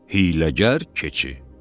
Hiyləgər keçi.